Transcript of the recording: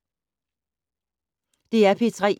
DR P3